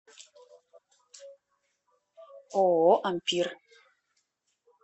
ооо ампир